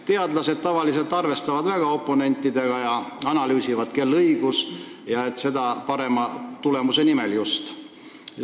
Teadlased tavaliselt arvestavad väga oponentidega ja analüüsivad, kel on õigus, ja seda just parema tulemuse nimel.